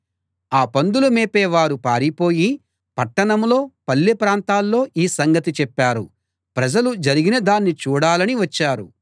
ఆ పందులు మేపేవారు పారిపోయి పట్టణంలో పల్లెప్రాంతాల్లో ఈ సంగతి చెప్పారు ప్రజలు జరిగినదాన్ని చూడాలని వచ్చారు